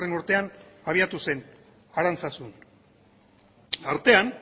urtean abiatu zen arantzazun artean